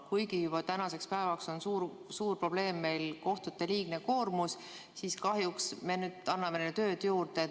Kuigi juba tänaseks päevaks on kohtute liigne koormus suur probleem, siis kahjuks me anname neile tööd juurde.